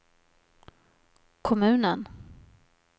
kommunen